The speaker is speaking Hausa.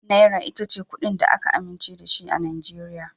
Naira ita ce kuɗin da aka amince da shi a Najeriya.